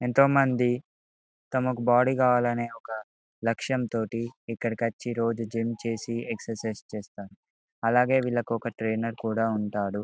ఎంతో మంది తమ బాడీ కావాలి అన్ని ఒక లక్ష్యంతోటి ఇక్కడ కీ వచ్చి రోజు జిమ్ చేసి ఎక్సర్సిస్ చేస్తారు ఏలాగే వీళ్లకు ఒక ట్రైనర్ కూడా ఉంటారు.